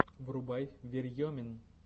врубай верьемин